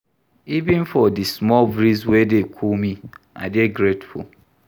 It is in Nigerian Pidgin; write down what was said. Even for di small breeze wey dey cool me, I dey grateful.